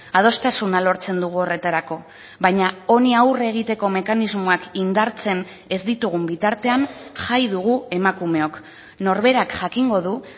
adostasuna lortzen dugu horretarako baina honi aurre egiteko mekanismoak indartzen ez ditugun bitartean jai dugu emakumeok norberak jakingo du